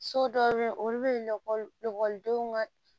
So dɔw be yen olu be ekɔli ekɔlidenw ka